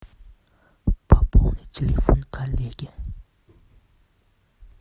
пополни телефон коллеги